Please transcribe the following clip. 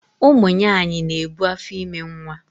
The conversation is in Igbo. Ụmụnyanyị na-ebu afọime nwa